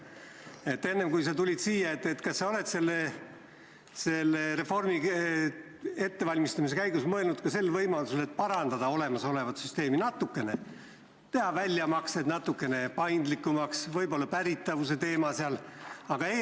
Kas sa enne, kui sa siia tulid, oled selle reformi ettevalmistamise käigus mõelnud ka võimalusele parandada olemasolevat süsteemi natukene: teha väljamaksed paindlikumaks ja võib-olla muuta midagi pärimise osas?